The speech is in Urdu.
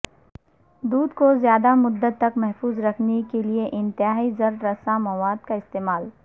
دودھ کو زیادہ مدت تک محفوظ رکھنے کے لئے انتہائی ضرر رساں مواد کا استعمال